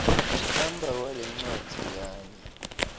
kuhamba kwalencwadzi kanye